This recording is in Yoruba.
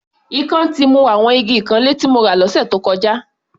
Ikán ti mu àwọn igi ìkanlé tí mo rà lọ́sẹ̀ tó kọjá.